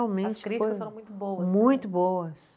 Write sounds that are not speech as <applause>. <unintelligible> As críticas foram muito boas. Muito boas.